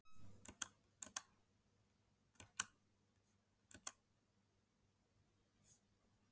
Hversu háa skál vil ég? Nú, ég vil alveg bolháa skál.